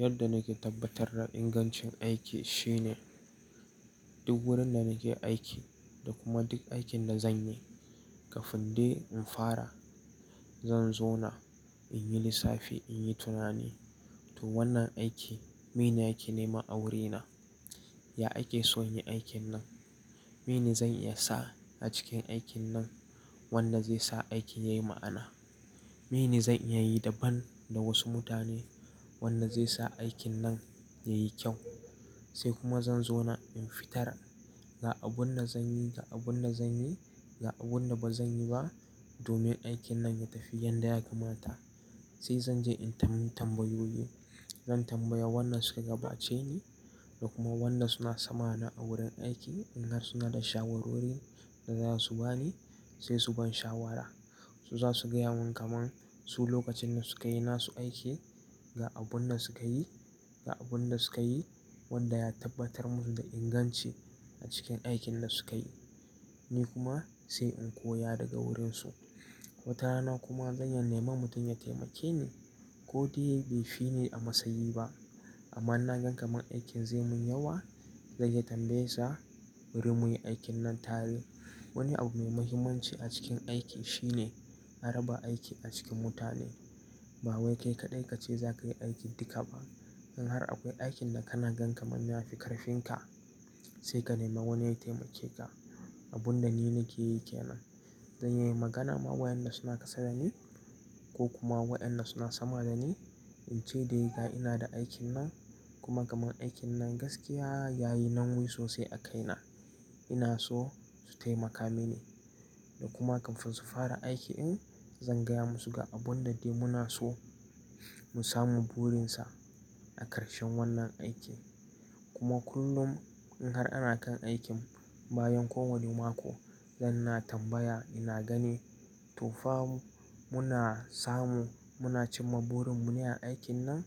Yadda nake tabbatar da ingancin aiki shine duk gurin da nake aiki da kuma duk aikin da zanyi. Kafin dai in fara zan zauna na in yi lissafi, in yi tunani. To wannan aiki mene a ke nema wurina? Ya ake so in yi aikin nan? Mene zan iya sa a cikin aikin nan wanda zai sa aikin yayi ma'ana? Mene zan iya yi daban da wasu mutane wanda zai sa aikin nan yayi kyau? Sai kuma zan zauna in fitar ga abun da zanyi, ga abun da zanyi, ga abun da bazanyi ba domin aikin nan ya tafi yadda yakamata. Sai zan je in tam tambayoyi. Zan tambaya wanda suka gabace ni da kuma wanda suna sama na a wurin aiki in har suna da shawarwari da zasu bani sai su ban shawara. Su zasu gaya mun kaman su lokacin da suka yi nasu aiki, ga abun da suka yi, ga abun da suka yi wanda ya tabbatar mun da inganci a cikin aikin da suka yi. Ni kuma sai in koya daga wurin su. Wata rana kuma zan iya neman mutum ya taimake ni ko dai bai fi ni a matsayi ba amma na ga kamar aikin zai mun yawa, zan iya tambayar sa wurin muyi aikin nan tare. Wani abu mai muhimmanci a cikin aiki shine a raba aiki a cikin mutane. Ba wai kai kaɗai kace zakayi aikin duka ba. In har akwai aikin da kana gan kamar ya fi ƙarfin ka sai ka nema wani yayi taimake ka. Abun da ni nake yi kenan. Zan iya yin magana ma wa'yanda suna ƙasada ni ko kuma wa'yanda suna sama dani in ce dai ga ina da aikin nan kuma kaman aikin nan gaskiya yayi nauyi sosai a kai na. Ina so su taimaka mini da kuma kafin su fara aiki in zan gaya musu ga abun da dai muna so mu samu burin sa a ƙarshen wannan aikin. Kuma kullum in har ana kan aikin bayan ko wanne mako zan na tambaya, ina gani to fa mu muna samu, muna cimma burin mu ne a aikin nan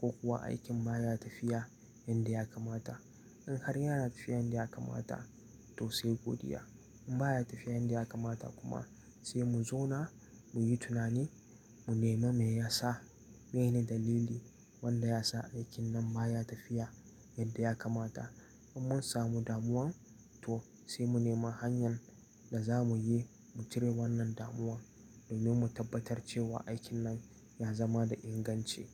ko kuwa aikin baya tafiya yanda yakamata. In har yana tafiya yadda yakamata to sai godiya. In baya tafiya yanda yakamata kuma sai mu zauna muyi tunani, mu nema me yasa, mene dalili wanda yasa aikin nan baya tafiya yadda yakamata. In mun samu damuwan to sai mu nema hanyar da zamu yi mu cire wannan damuwan domin mu tabbatar cewa aikin nan ya zama da inganci.